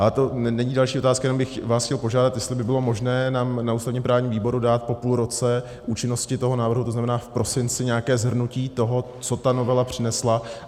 Ale to není další otázka, jenom bych vás chtěl požádat, jestli by bylo možné nám na ústavně-právním výboru dát po půl roce účinnosti toho návrhu, to znamená v prosinci, nějaké shrnutí toho, co ta novela přinesla.